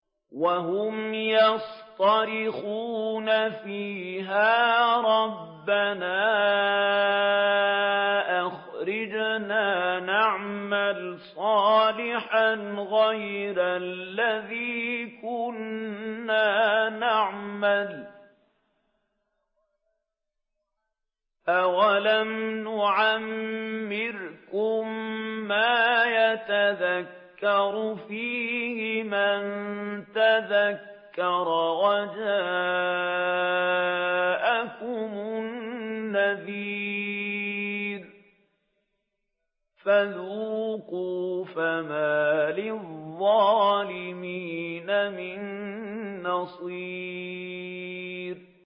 وَهُمْ يَصْطَرِخُونَ فِيهَا رَبَّنَا أَخْرِجْنَا نَعْمَلْ صَالِحًا غَيْرَ الَّذِي كُنَّا نَعْمَلُ ۚ أَوَلَمْ نُعَمِّرْكُم مَّا يَتَذَكَّرُ فِيهِ مَن تَذَكَّرَ وَجَاءَكُمُ النَّذِيرُ ۖ فَذُوقُوا فَمَا لِلظَّالِمِينَ مِن نَّصِيرٍ